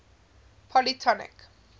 polytonic